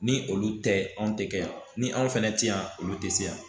Ni olu tɛ anw tɛ kɛ yan ni anw fɛnɛ tɛ yan olu tɛ se yan